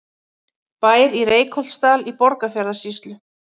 Bær í Reykholtsdal í Borgarfjarðarsýslu.